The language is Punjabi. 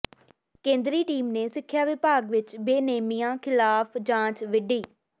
ਕੇਂਦਰੀ ਟੀਮ ਨੇ ਸਿੱਖਿਆ ਵਿਭਾਗ ਵਿੱਚ ਬੇਨੇਮੀਆਂ ਖ਼ਿਲਾਫ਼ ਜਾਂਚ ਵਿੱਢੀ